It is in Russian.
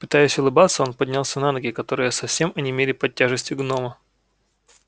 пытаясь улыбаться он поднялся на ноги которые совсем онемели под тяжестью гнома